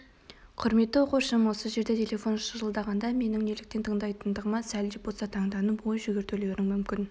құрметті оқушым осы жерде телефон шылдырлағанда менің неліктен тыңдайтындығыма сәл де болса таңданып ой жүгіртулерің мүмкін